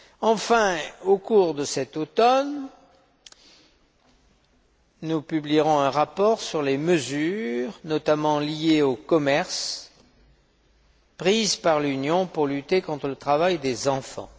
Enfin, au cours de cet automne, nous publierons un rapport sur les mesures, notamment liées au commerce, prises par l'Union pour lutter contre le travail des enfants.